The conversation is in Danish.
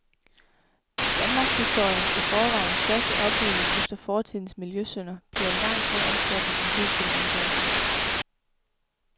Danmarkshistoriens i forvejen største oprydning efter fortidens miljøsynder bliver langt mere omfattende end hidtil antaget.